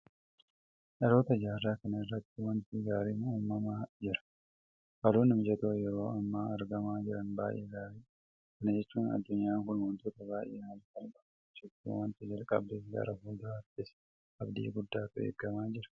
Dhaloota jaarraa kanaa irratti waanti gaariin uumamaa jira. Haalonni mijatoon yeroo ammaa argamaa jiran baay'ee gaariidha. Kana jechuun addunyaan kun waantota baay'ee haala salphaadhaan hojjechuu waanta jalqabdeef gara fuulduraattis abdii guddaatu eegamaa jira.